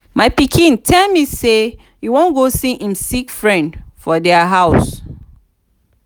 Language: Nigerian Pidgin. my pikin tell me say e wan go see im sick friend for their house